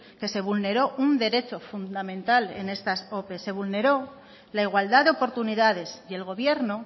que se vulneró un derecho fundamental en estas ope se vulneró la igualdad de oportunidades y el gobierno